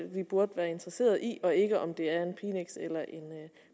vi burde være interesseret i og ikke om det er en pinex eller en